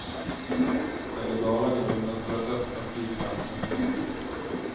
Den legala grunden för att öppna flygplatsen finns.